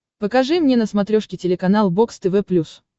покажи мне на смотрешке телеканал бокс тв плюс